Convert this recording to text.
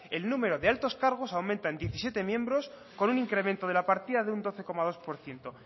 el número de altos cargos aumenta en diecisiete miembros con un incremento de la partida de un doce coma dos por ciento